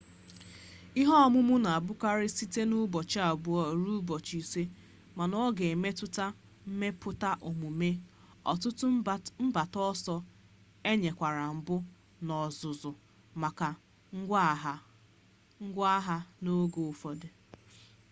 ihe ọmụmụ na-abụkarị site na ụbọchị abuo ruo ụbọchị ise ma ọ ga-emetụta mmepụta omume ọtụtụ mgbata ọsọ enyemaka mbụ na ọzụzụ maka ngwaagha n'oge ụfọdụ